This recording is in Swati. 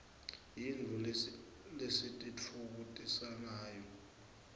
yintfo lesititfokotisangayo